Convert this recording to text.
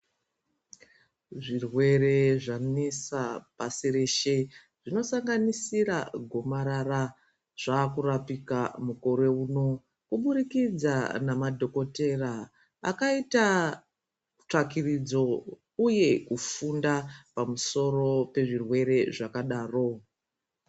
Zvirwere zvanesa pashi reshe rino sanganisira gomarara zvava kurapika mukore uno kubudikidza madhokodheya akaita tsvakurudzo uye kufunda pamusoro pezvirwere zvakadaro.